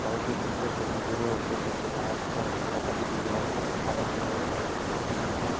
গাড়িটির নিচে যে মেঝে রয়েছে সেটি লাল। গাড়িটির চাকা দুটি গোল দুটি সাদা কালার এর লোকটির মাথায় টুপি।